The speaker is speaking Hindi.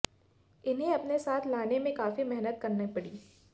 इन्हें अपने साथ लाने में काफी मेहनत करना पड़ी